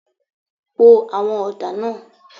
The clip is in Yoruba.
Po àwọn ọ̀dà náà.